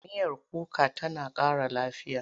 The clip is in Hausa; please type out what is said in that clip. Miyar kuka tana ƙara lafiya.